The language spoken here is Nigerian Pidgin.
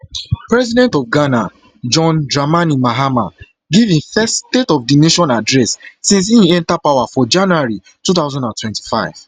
president of ghana john dramani mahama give im first state of di nation address since in enta power for january two thousand and twenty-five